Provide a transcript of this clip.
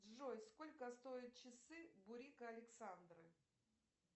джой сколько стоят часы бурико александры